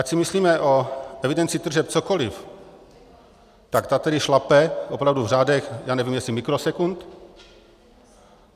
Ať si myslíme o evidenci tržeb cokoliv, tak ta tedy šlape opravdu v řádech já nevím, jestli mikrosekund.